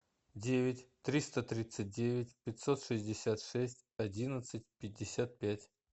девять триста тридцать девять пятьсот шестьдесят шесть одиннадцать пятьдесят пять